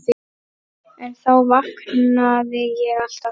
En þá vaknaði ég alltaf.